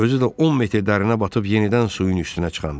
Özü də 10 metr dərinə batıb yenidən suyun üstünə çıxanda.